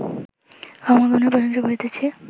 ক্ষমাগুণের প্রশংসা করিতেছি